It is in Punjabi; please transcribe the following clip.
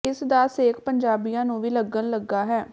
ਇਸ ਦਾ ਸੇਕ ਪੰਜਾਬੀਆਂ ਨੂੰ ਵੀ ਲੱਗਣ ਲੱਗਾ ਹੈ